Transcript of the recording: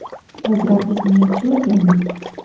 Biz raqibni yaxshi o‘rgandik.